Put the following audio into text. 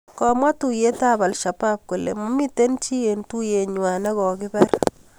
komwa tuyeetab Al-shabaab kole mamito chi eng tuyengang ne ko kipar